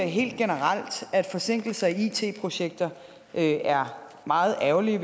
helt generelt at forsinkelser i it projekter er meget ærgerlige